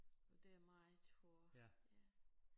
Det er meget hård ja